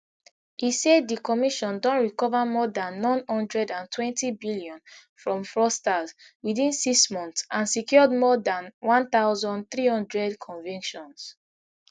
e say di commission don recover more dan n one hundred and twentybillion from fraudsters within six months and secured more dan one thousand, three hundred convictions